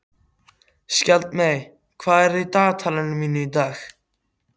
Skjaldmey, hvað er í dagatalinu mínu í dag?